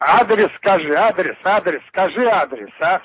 адрес скажи адрес адрес скажи адрес а